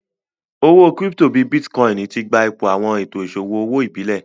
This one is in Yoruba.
Owó kírípítò bíì Bitkòinì tí gbà ìpò awọn ètò iṣọwọ ọwọ ìbílé